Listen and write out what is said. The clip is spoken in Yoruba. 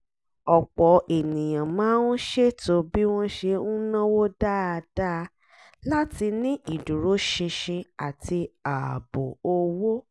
ọ̀pọ̀ ènìyàn máa ń ṣètò bí wọ́n ṣe ń náwó dáadáa láti ní ìdúróṣinṣin àti ààbò owó